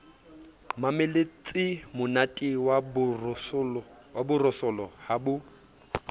mamelletsemonate wa borosolo ha bo